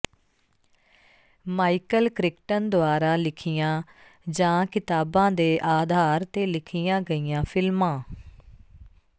Michael Crichton ਦੁਆਰਾ ਲਿਖੀਆਂ ਜਾਂ ਕਿਤਾਬਾਂ ਦੇ ਆਧਾਰ ਤੇ ਲਿਖੀਆਂ ਗਈਆਂ ਫ਼ਿਲਮਾਂ